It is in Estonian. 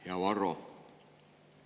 Hea Varro!